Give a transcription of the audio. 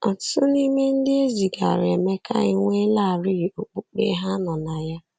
Ọtụtụ n’ime ndị e zigara Emeka enweelarị okpukpe ha nọ na ya.